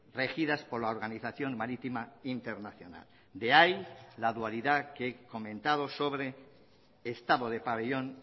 regidas por la organización marítima internacional de ahí la dualidad que he comentado sobre estado de pabellón